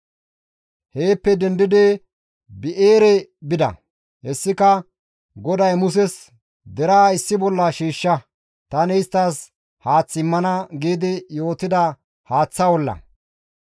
Heeppe dendidi Bi7eere bida; hessika GODAY Muses, «Deraa issi bolla shiishsha; tani isttas haath immana» giidi yootida haaththa olla.